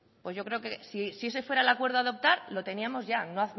pues yo creo que si ese fuera el acuerdo a adoptar lo teníamos ya no